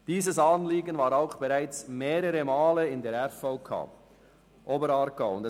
Dieses Anliegen wurde bereits mehrmals durch die RVK Oberaargau beraten.